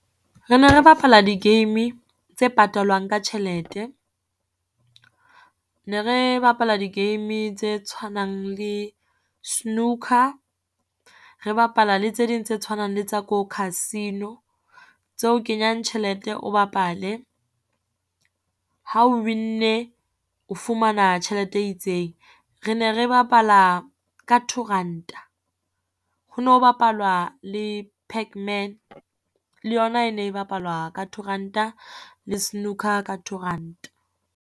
Re ne re bapala di-game tse patalwang ka tjhelete, ne re bapala di-game tse tshwanang le snooker, re bapala le tse ding tse tshwanang le tsa ko casino tse o kenyang tjhelete, o bapale. Ha o win-nne o fumana tjhelete e itseng. Re ne re bapala ka two ranta, ho no bapalwa le pac man. Le yona e ne bapalwa ka two ranta le snooker ka two ranta.